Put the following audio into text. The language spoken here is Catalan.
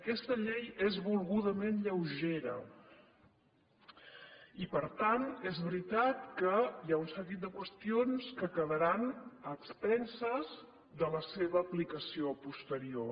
aquesta llei és volgudament lleugera i per tant és veritat que hi ha un seguit de qüestions que quedaran a expenses de la seva aplicació posterior